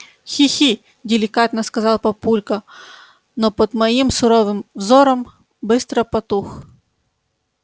хи-хи деликатно сказал папулька но под моим суровым взором быстро потух